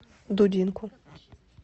дудинку